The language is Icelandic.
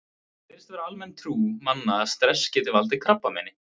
Það virðist vera almenn trú manna að stress geti valdið krabbameini.